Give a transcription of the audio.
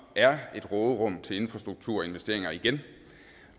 er et råderum til infrastrukturinvesteringer igen